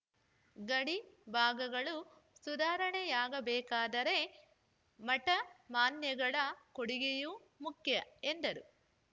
ಗಡಿ ಭಾಗಗಳು ಸುಧಾರಣೆಯಾಗಬೇಕಾದರೆ ಮಠ ಮಾನ್ಯಗಳ ಕೊಡುಗೆಯೂ ಮುಖ್ಯ ಎಂದರು